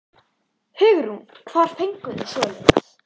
Hugrún: Hvar fenguð þið svoleiðis?